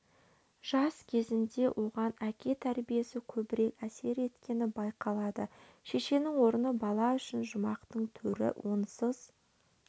жас кезінде оған әке тәрбиесі көбірек әсер еткені байқалады шешенің орны бала үшін жұмақтың төрі онсыз